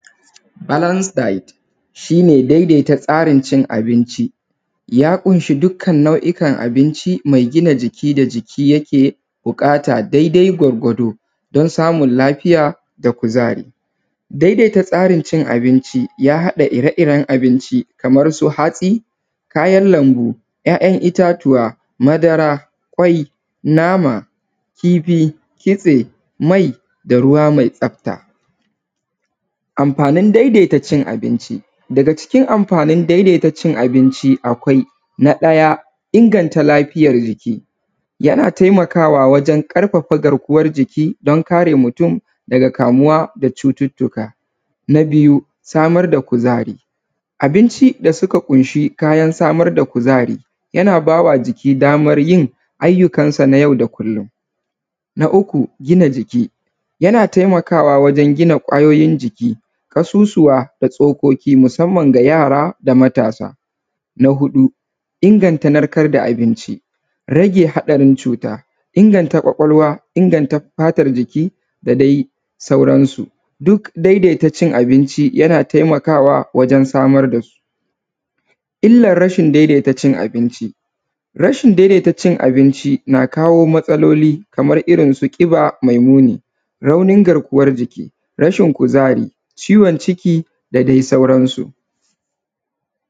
Balans dit shine daidai ta tsarin cin abinci, ya kunshi dukkan nau’ikan tsarin cin abinci mai gina jiki da jiki yake buƙata daidai gwargwado don samun lafiya da kuzari. Daidaita tsarin cin abinci ya haɗa ire iren abinci kamar su hatsai, kayan lambu, ‘ya’’yan’ ittatuwa, madara, nama, kifi, kitse, mai, da ruwa mai tsafta. Amfanin daidaita abinci. Daga cikin amfanin daidaita amfanin cin abinci na ɗaya daidaita lafiyar jiki yana taimakawa wajen ƙarfafa garkuwan jiki dan kare mutun daga kamuwa da cututtuka. Na biyu samar da kuzari abinci da suka kunshi kayan samar da kuzari yana bawa jiki damar yin ayyukan sa nau da kullum. Na uku gina jiki yana taimakawa wajen gina kwayoyin jiki ƙasusuwa da tsokoki musamman ga yara da matasa. Na huɗu inganta narkar da abinci, rage haɗarin cuta, inganta kwakwalwa, inganta fatar jiki da dai sauran su. duk daidaita cin abinci yana taimakawa wajen samar dasu. Illa rashin daidaita cin abinci rashin daidaita cin abinci na kawo matsaloli kamar ƙiba mai muni, raunin garkuwan jiki, rashin kuzari, ciwon ciki da dai sauran su.